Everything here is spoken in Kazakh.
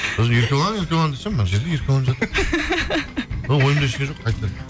сосын еркебұлан еркебұлан десем мына жерде еркебұлан жатыр ойымда ештеңе жоқ қайтадан